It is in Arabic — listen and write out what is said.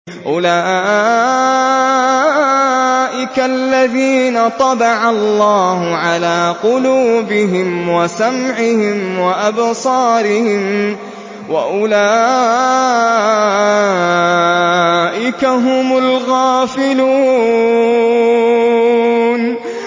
أُولَٰئِكَ الَّذِينَ طَبَعَ اللَّهُ عَلَىٰ قُلُوبِهِمْ وَسَمْعِهِمْ وَأَبْصَارِهِمْ ۖ وَأُولَٰئِكَ هُمُ الْغَافِلُونَ